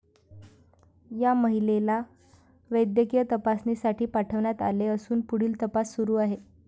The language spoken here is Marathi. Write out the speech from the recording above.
या महिलेला वैद्यकीय तपासणीसाठी पाठवण्यात आले असून, पुढील तपास सुरु आहे.